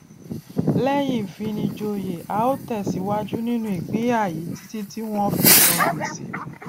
lẹyìn ìfinijòyè a ó tẹsìwájú nínú ìpínyà yìí títí tí wọn fi san gbèsè